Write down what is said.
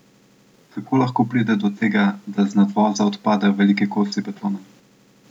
Kako lahko pride do tega, da z nadvoza odpadajo veliki kosi betona?